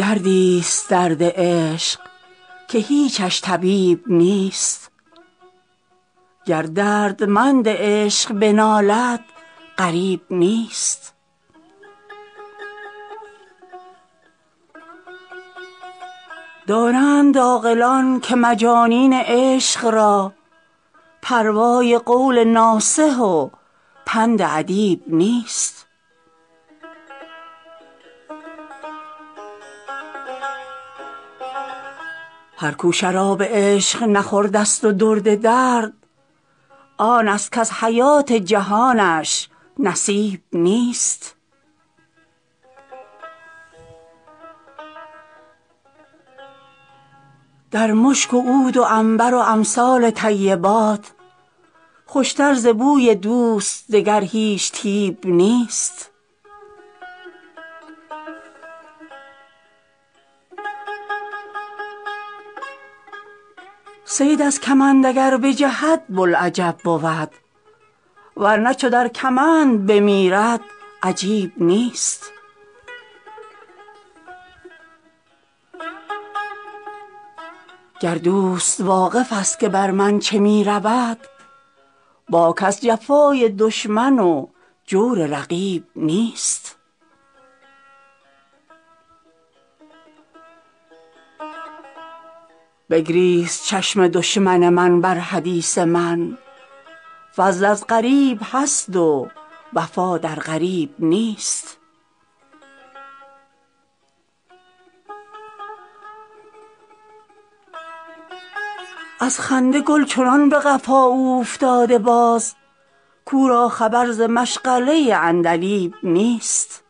دردی ست درد عشق که هیچش طبیب نیست گر دردمند عشق بنالد غریب نیست دانند عاقلان که مجانین عشق را پروای قول ناصح و پند ادیب نیست هر کو شراب عشق نخورده ست و درد درد آن ست کز حیات جهانش نصیب نیست در مشک و عود و عنبر و امثال طیبات خوش تر ز بوی دوست دگر هیچ طیب نیست صید از کمند اگر بجهد بوالعجب بود ور نه چو در کمند بمیرد عجیب نیست گر دوست واقف ست که بر من چه می رود باک از جفای دشمن و جور رقیب نیست بگریست چشم دشمن من بر حدیث من فضل از غریب هست و وفا در قریب نیست از خنده گل چنان به قفا اوفتاده باز کو را خبر ز مشغله عندلیب نیست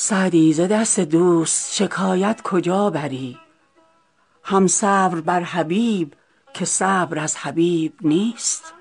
سعدی ز دست دوست شکایت کجا بری هم صبر بر حبیب که صبر از حبیب نیست